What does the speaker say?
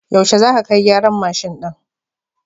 Yaushe za ka kai gyaran mashin ɗin?